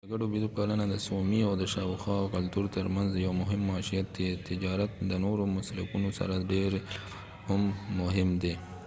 د ګډو بېزو پالنه د سومي او شاوخوا کلتور ترمنځ یو مهم معیشت دی تجارت د نورو مسلکونو سره د ډیری لپاره هم مهم دی